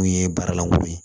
Mun ye baaralankolon ye